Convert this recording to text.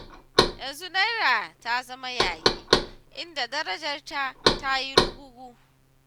Yanzu Naira ta zama yayi, inda darajarta ta yi rugugu.